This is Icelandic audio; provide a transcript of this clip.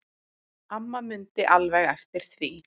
Amma mundi alveg eftir því.